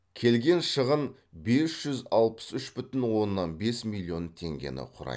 келген шығын бес жүз алпыс үш бүтін оннан бес миллион теңгені құрайды